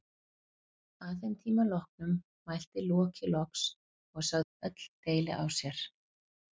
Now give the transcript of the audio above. Að þeim tíma loknum mælti Loki loks og sagði öll deili á sér.